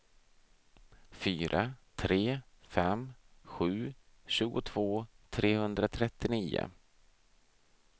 fyra tre fem sju tjugotvå trehundratrettionio